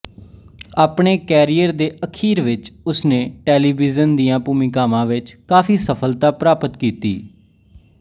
ਆਪਣੇ ਕੈਰੀਅਰ ਦੇ ਅਖੀਰ ਵਿਚ ਉਸ ਨੇ ਟੈਲੀਵਿਜ਼ਨ ਦੀਆਂ ਭੂਮਿਕਾਵਾਂ ਵਿਚ ਕਾਫ਼ੀ ਸਫਲਤਾ ਪ੍ਰਾਪਤ ਕੀਤੀ